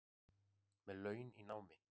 Með laun í námi